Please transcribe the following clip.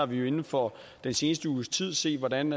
vi har inden for den seneste uges tid set hvordan